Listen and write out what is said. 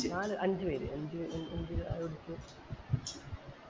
നാൽ അഞ്ച് പേര് അഞ്ച് പേരും അഞ്ച് ചായ കുടിച്ചു